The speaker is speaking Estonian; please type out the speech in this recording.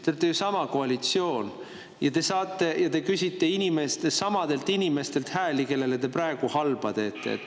Te olete ju sama koalitsioon ja te küsite samadelt inimestelt hääli, kellele te praegu halba teete!